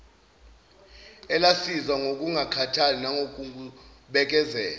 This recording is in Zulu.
elasiza ngokungakhathali nangokubekezela